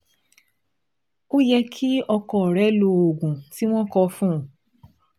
Ó yẹ kí ọkọ rẹ lo oògùn tí wọ́n kọ fún un